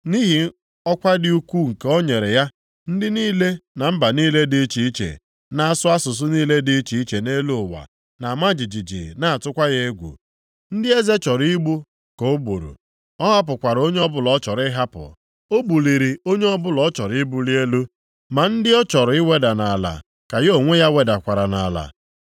Nʼihi ọkwa dị ukwuu nke o nyere ya, ndị niile, na mba niile di iche iche, na-asụ asụsụ niile dị iche iche nʼelu ụwa na-ama jijiji na-atụkwa ya egwu. Ndị eze chọrọ igbu ka o gburu, ọ hapụkwara onye ọbụla ọ chọrọ ịhapụ; o buliri onye ọbụla ọ chọrọ ibuli elu, ma ndị ọ chọrọ iweda nʼala, ka ya onwe ya wedakwara nʼala.